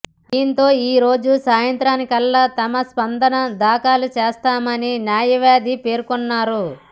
దీంతో ఈరోజు సాయంత్రానికల్లా తమ స్పందన దాఖలు చేస్తామని న్యాయవాది పేర్కొన్నారు